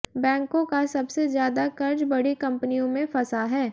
बैंकों का सबसे ज्यादा कर्ज बड़ी कंपनियों में फंसा है